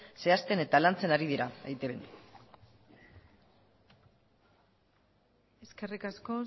zehazten eta lantzen ari dira eitbn eskerrik asko